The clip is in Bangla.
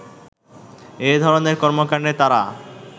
এধরনের কর্মকান্ডে তারা